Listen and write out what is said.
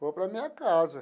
Vou para a minha casa.